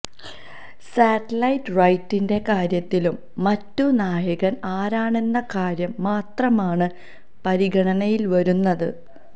satellite റൈറ്റിന്റെ കാര്യത്തിലും മറ്റും നായകൻ ആരാണെന്ന കാര്യം മാത്രമാണ് പരിഗണനയിൽ വരുന്നത്